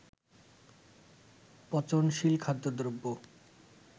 পচনশীল খাদ্যদ্রব্য